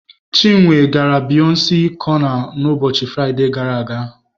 Chinwe gara Biyọnce cọna n'ụbọchị Fraịde gara aga.